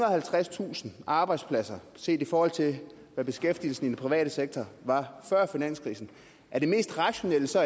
og halvtredstusind arbejdspladser set i forhold til hvad beskæftigelsen i den private sektor var før finanskrisen er det mest rationelle så